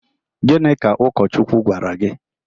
Gịnị ka Ụkọchukwu gwara gị?